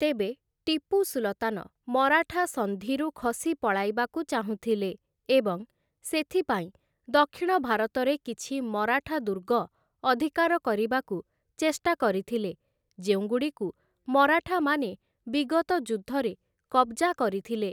ତେବେ ଟିପୁ ସୁଲତାନ ମରାଠା ସନ୍ଧିରୁ ଖସି ପଳାଇବାକୁ ଚାହୁଁଥିଲେ ଏବଂ ସେଥିପାଇଁ ଦକ୍ଷିଣ ଭାରତରେ କିଛି ମରାଠା ଦୁର୍ଗ ଅଧିକାର କରିବାକୁ ଚେଷ୍ଟା କରିଥିଲେ, ଯେଉଁଗୁଡ଼ିକୁ ମରାଠାମାନେ ବିଗତ ଯୁଦ୍ଧରେ କବ୍‌ଜା କରିଥିଲେ ।